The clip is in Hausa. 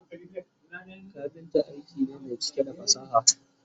kafinta aiki ne Mai cike da fasaha